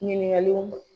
Ɲininkaliw